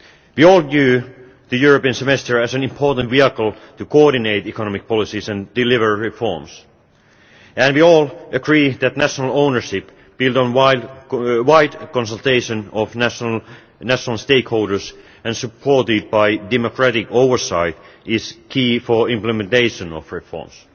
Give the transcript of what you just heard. We all view the European Semester as an important vehicle to coordinate economic policies and deliver reforms, and we all agree that national ownership built on wide consultation of national stakeholders and supported by democratic oversight is key for implementation of reforms.